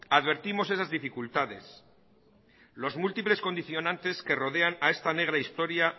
advertimos esas dificultades los múltiples condicionantes que rodean a esta negra historia